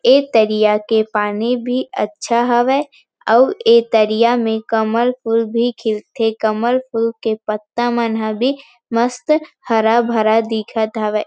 एक तरिया के पानी भी अच्छा हवे अऊ ऐ तरिया में कमल फुल भी खिल थे कमल फुल के पत्ता मन भी मस्त हरा-भरा दिखत हवय।